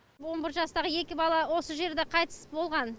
он бір жастағы екі бала осы жерде қайтыс болған